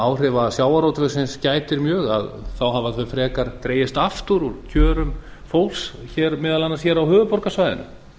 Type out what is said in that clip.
áhrifa sjávarútvegsins gætir mjög þá hafa þau frekar dregist aftur úr kjörum fólks meðal annars hér á höfuðborgarsvæðinu